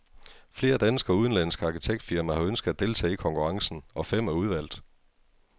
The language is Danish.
Flere danske og udenlandske arkitektfirmaer har ønsket at deltage i konkurrencen, og fem er udvalgt.